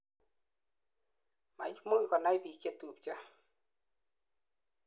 maimuch konai biik chetubcho